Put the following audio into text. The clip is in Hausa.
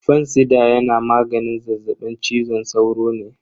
Fansida yana maganin zazzaɓin cizon sauro ne.